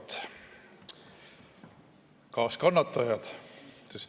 Head kaaskannatajad!